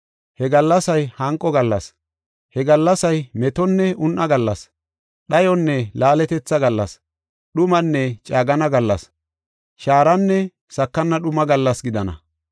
He gallasay hanqo gallas, he gallasay metonne un7a gallas, dhayonne laaletetha gallas, dhumanne caagana gallas, shaaranne sakana dhuma gallas gidana.